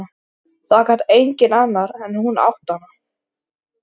Það gat enginn annar en hún átt hana.